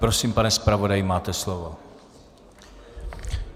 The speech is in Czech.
Prosím, pane zpravodaji, máte slovo.